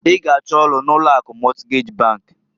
I g'achọ ọlụ n'ụlọ akụ Mọtgej bankǃ